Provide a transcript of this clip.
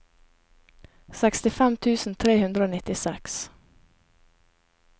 sekstifem tusen tre hundre og nittiseks